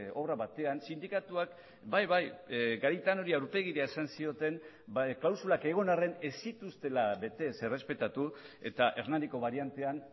obra batean sindikatuak bai bai garitanori aurpegira esan zioten klausulak egon arren ez zituztela bete ez errespetatu eta hernaniko bariantean